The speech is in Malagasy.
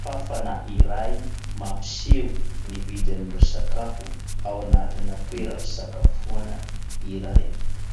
Fafana iray mampiseho ny vidin'ireo sakafo ao anatina toeram-pisakafoana iray.